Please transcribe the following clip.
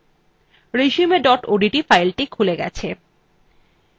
resume odt filethe খুলে গেছে